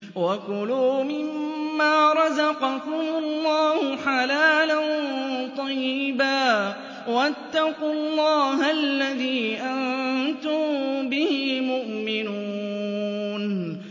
وَكُلُوا مِمَّا رَزَقَكُمُ اللَّهُ حَلَالًا طَيِّبًا ۚ وَاتَّقُوا اللَّهَ الَّذِي أَنتُم بِهِ مُؤْمِنُونَ